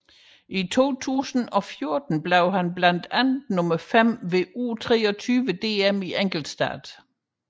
I 2014 blev han blandt andet nummer fem ved U23 DM i enkeltstart